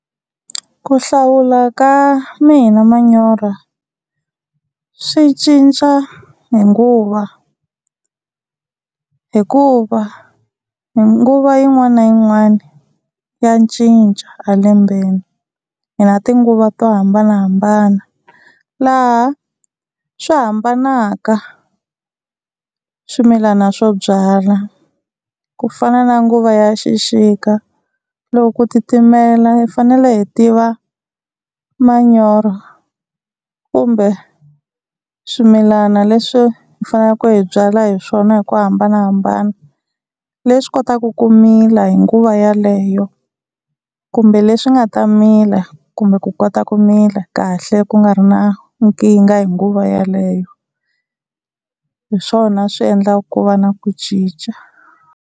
Ku hlawula ka mina manyoro swi cinca hi nguva hikuva hi nguva yin'wana na yin'wana ya cinca a lembeni. Hi na tinguva to hambanahambana laha swi hambanaka swimilana swo byala. Ku fana na nguva ya xixika loko ku titimela hi fanele hi tiva manyoro kumbe swimilana leswi hi faneleke hi byala hi swona hi ku hambanahambana leswi kotaka ku mila hi nguva yaleyo kumbe leswi nga ta mila kumbe ku kota ku mila kahle ku nga ri na nkingha hi nguva yaleyo, hi swona swi endlaka ku va na ku cinca.